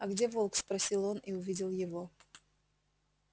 а где волк спросил он и увидел его